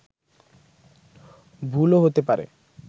ভুলও হতে পারে